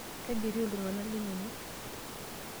Kajo etiu iltung'ana linono?